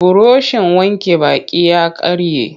Burushin wanke baki ya karye.